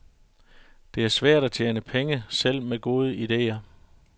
Det er svært at tjene penge, selv med gode ideer.